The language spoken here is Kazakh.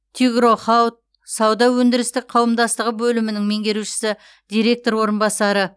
тигро хауд сауда өндірістік қауымдастығы бөлімінің меңгерушісі директор орынбасары